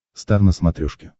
стар на смотрешке